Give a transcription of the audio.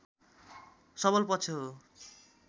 सबल पक्ष हो